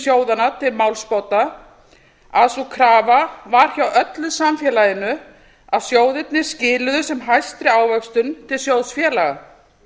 sjóðanna til málsbóta að sú krafa var hjá öllu samfélaginu að sjóðirnir skiluðu sem hæstri ávöxtun til sjóðfélaga